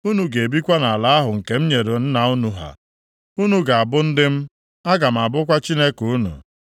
Unu ga-ebikwa nʼala ahụ nke m nyere nna unu ha. Unu ga-abụ ndị m, aga m abụkwa Chineke unu.